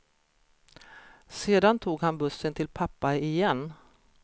Sedan tog han bussen till pappa, igen.